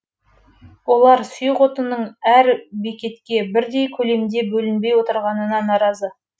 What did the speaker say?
олар сұйық отынның әр бекетке бірдей көлемде бөлінбей отырғанына наразы